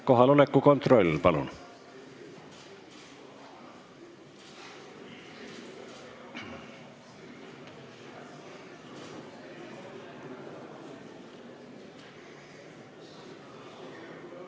Kohaloleku kontroll, palun!